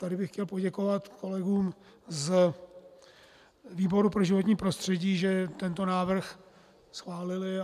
Tady bych chtěl poděkovat kolegům z výboru pro životní prostředí, že tento návrh schválili.